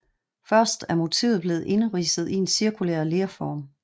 Først er motivet blevet indridset i en cirkulær lerform